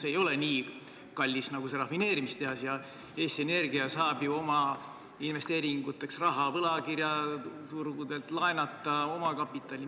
See ei ole nii kallis nagu rafineerimistehas ja Eesti Energia saab ju oma investeeringuteks raha võlakirjaturgudelt, laenata omakapitali.